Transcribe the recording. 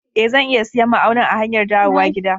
E, zan iya siyan ma'aunin a hanyar dawowa gida.